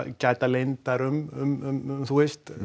gæta leyndar um þú veist